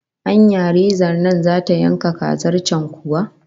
Anya rezan nan zata yanka kazar can kuwa?